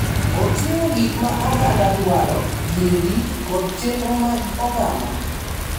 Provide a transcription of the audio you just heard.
Oting’o gik ma oganda dwaro, yiegi, kod chenro mag oganda,